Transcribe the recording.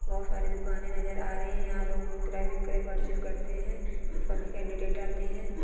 बहुत सारी दुकाने नजर आरही हे यहा लोग क्रेडिट करते हें सभी केनडीडेट आते हैं।